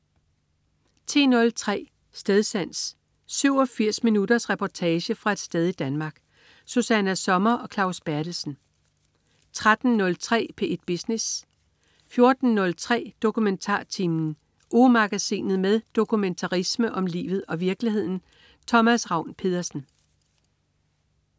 10.03 Stedsans. 87 minutters reportage fra et sted i Danmark. Susanna Sommer og Claus Berthelsen 13.03 P1 Business 14.03 DokumentarTimen. Ugemagasinet med dokumentarisme om livet og virkeligheden. Thomas Ravn-Pedersen